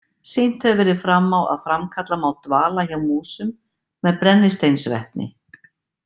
Sýnt hefur verið fram á að framkalla má dvala hjá músum með brennisteinsvetni.